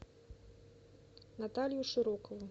наталью широкову